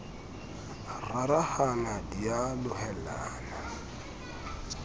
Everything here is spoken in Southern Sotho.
a rarahana di a lohellana